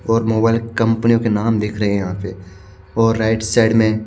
बहत मोबाईल कम्पनियों की नाम दिख रहे है यहाँ पे और राइट साइड में --